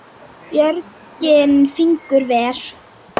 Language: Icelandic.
Björgin fingur ver.